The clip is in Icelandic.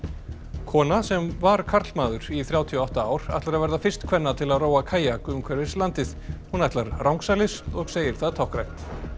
kona sem var karlmaður í þrjátíu og átta ár ætlar að verða fyrst kvenna til að róa kajak umhverfis landið hún ætlar rangsælis og segir það táknrænt